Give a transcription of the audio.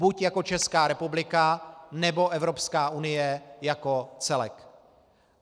Buď jako Česká republika, nebo Evropská unie jako celek.